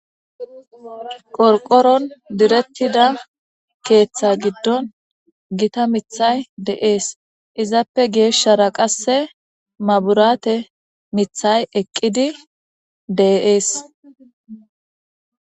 Qorqoron diretida keetha gidon Gita mithat de'es , izappe geshara qase mabirate mithat eqid de'es.